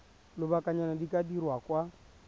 lobakanyana di ka dirwa kwa